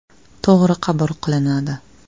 To‘g‘ri qabul qilinadi.